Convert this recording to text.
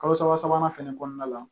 Kalo saba sabanan fɛnɛ kɔnɔna la